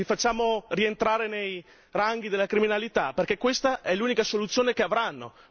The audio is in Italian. Li facciamo rientrare nei ranghi della criminalità, perché questa è l'unica soluzione che avranno.